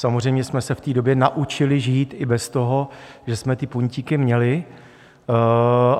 Samozřejmě jsme se v té době naučili žít i bez toho, že jsme ty puntíky měli.